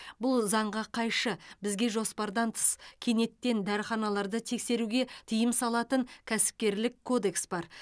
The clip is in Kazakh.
бұл заңға қайшы бізге жоспардан тыс кенеттен дәріханаларды тексеруге тыйым салатын кәсіпкерлік кодекс бар